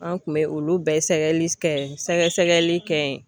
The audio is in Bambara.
An kun bɛ olu bɛɛ sɛgɛli kɛ sɛgɛsɛgɛli kɛ yen